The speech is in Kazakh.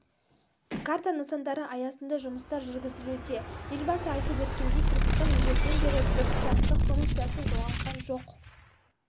карта нысандары аясында жұмыстар жүргізілуде елбасы айтып өткендей түркістан ежелден бері біртұтастық функциясын жоғалтқан жоқ